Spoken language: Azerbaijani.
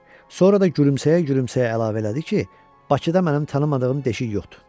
Sonra da gülümsəyə-gülümsəyə əlavə elədi ki, Bakıda mənim tanımadığım deşik yoxdur.